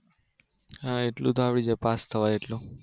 હા એટલું તો આવડી જાય પાસ થવાય એટલું